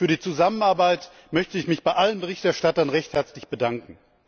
Für die Zusammenarbeit möchte ich mich bei allen Berichterstattern recht herzlich bedanken.